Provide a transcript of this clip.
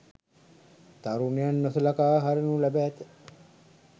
තරුණයන් නොසලකා හරිනු ලැබ ඇත.